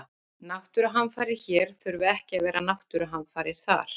Náttúruhamfarir hér þurfa ekki að vera náttúruhamfarir þar.